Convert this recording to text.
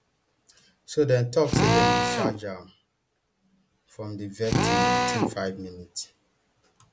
so dem tok say dem discharge am from di vetting within five minutes